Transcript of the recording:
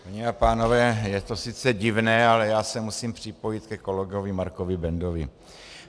Paní a pánové, je to sice divné, ale já se musím připojit ke kolegovi Markovi Bendovi.